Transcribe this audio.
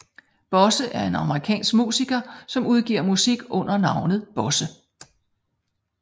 Bosse er en amerikansk musiker som udgiver musik under navnet Bosse